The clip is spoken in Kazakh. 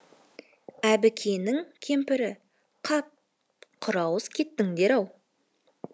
әбікеннің кемпірі қап құрауыз кеттіңдер ау